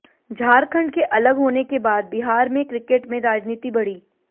झारखंड के अलग होने के बाद बिहार में क्रिकेट में राजनीति बढ़ी